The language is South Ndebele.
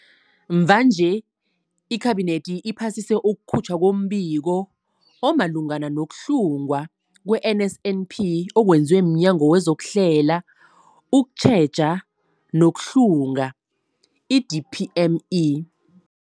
Mvanje, iKhabinethi iphasise ukukhutjhwa kombiko omalungana nokuhlungwa kwe-NSNP okwenziwe mNyango wezokuHlela, ukuTjheja nokuHlunga, i-DPME.